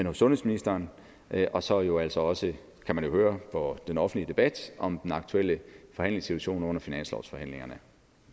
hos sundhedsministeren og så jo altså også kan man høre på den offentlige debat om den aktuelle forhandlingssituation under finanslovsforhandlingerne